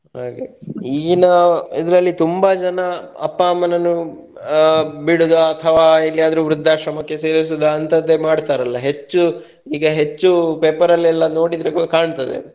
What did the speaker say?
ಹಾಗೆ ಈಗಿನ ಇದರಲ್ಲಿ ತುಂಬಾ ಜನ ಅಪ್ಪ ಅಮ್ಮನನ್ನು ಆ ಬಿಡುದ ಅಥವಾ ಎಲ್ಯಾದ್ರು ವೃದ್ದಾಶ್ರಮಕ್ಕೆ ಸೇರಿಸುದ ಅಂತದ್ದೇ ಮಾಡ್ತಾರಲ್ಲ ಹೆಚ್ಚು ಈಗ ಹೆಚ್ಚು paper ಅಲ್ಲೆಲ್ಲ ನೋಡಿದ್ರೆ ಕಾಣ್ತದೆ.